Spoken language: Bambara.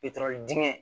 dingɛ